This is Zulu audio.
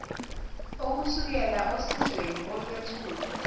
okusukela osizweni olwethulwe